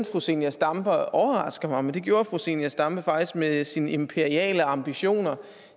fru zenia stampe overrasker mig men det gjorde fru zenia stampe faktisk med sine imperiale ambitioner